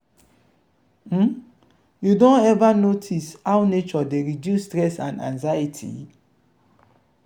um you don ever don ever notice how nature dey reduce stress and anxiety?